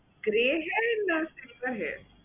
Gray hair না silver hair?